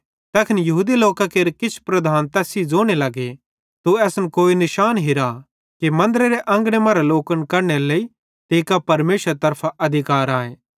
तैखन यहूदी लोकां केरे किछ लीडरेईं तैस सेइं ज़ोने लग्गे तू असन कोई निशान चमत्कार हिरा कि मन्दरेरे अंगने मरां लोकन कढनेरे लेइ तीं कां परमेशरेरे तरफां अधिकार आए